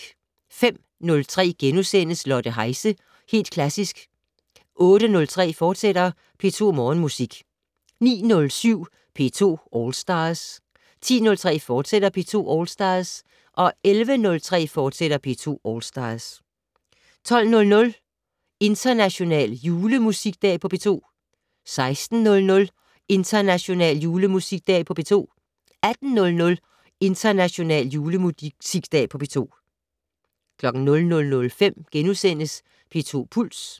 05:03: Lotte Heise - Helt Klassisk * 08:03: P2 Morgenmusik, fortsat 09:07: P2 All Stars 10:03: P2 All Stars, fortsat 11:03: P2 All Stars, fortsat 12:00: International julemusikdag på P2 16:00: International julemusikdag på P2 18:00: International julemusikdag på P2 00:05: P2 Puls * 01:03: P2 Puls, fortsat